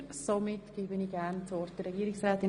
Somit gebe ich das Wort der Regierungsrätin.